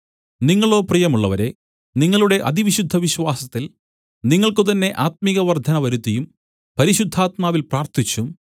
നിങ്ങളോ പ്രിയമുള്ളവരേ നിങ്ങളുടെ അതിവിശുദ്ധ വിശ്വാസത്തിൽ നിങ്ങൾക്കുതന്നെ ആത്മികവർദ്ധന വരുത്തിയും പരിശുദ്ധാത്മാവിൽ പ്രാർത്ഥിച്ചും